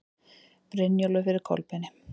Brynjólfur fyrir Kolbeini.